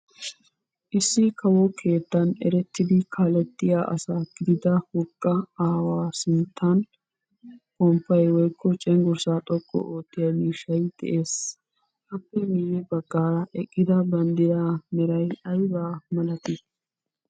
Issi kawo keettan erettidi kaalettiya asa gidida wogga aawa sinttan ponppay woykko cenggurssaa xoqqu oottiya miishshay de'ees. Appe miyye baggaara eqqida bandraa meray aybaa malatii?